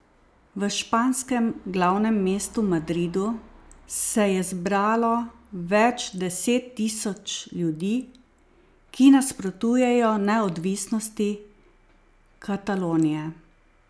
V španskem glavnem mestu Madridu se je zbralo več deset tisoč ljudi, ki nasprotujejo neodvisnosti Katalonije.